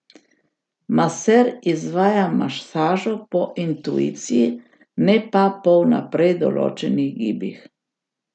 Maser izvaja masažo po intuiciji, ne pa po vnaprej določenih gibih.